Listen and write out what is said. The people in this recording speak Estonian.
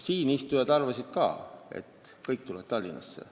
Siin istujad arvasid ka, et kõik tulevad Tallinnasse.